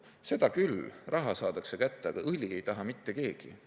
Seda küll, raha saadakse kätte, aga õli ei taha mitte keegi.